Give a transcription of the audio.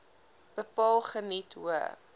bepaal geniet hoë